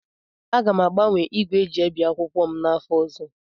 Aga m agbanwe igwe eji ebi akwụkwọ m n'afọ ọzọ.